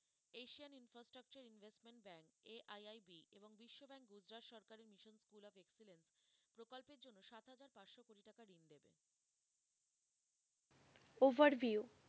overview